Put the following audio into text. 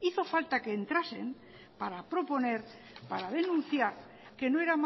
hizo falta que entrasen para proponer para denunciar que no era